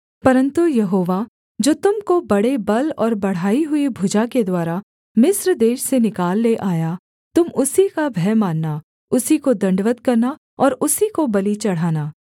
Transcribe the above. परन्तु यहोवा जो तुम को बड़े बल और बढ़ाई हुई भुजा के द्वारा मिस्र देश से निकाल ले आया तुम उसी का भय मानना उसी को दण्डवत् करना और उसी को बलि चढ़ाना